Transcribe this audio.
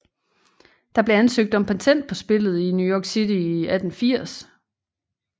Der blev ansøgt om patent på spillet i New York City i 1880